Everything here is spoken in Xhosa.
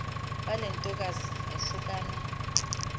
bale ntokazi yahlukana